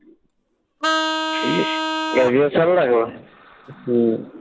graduation লাগবে? হম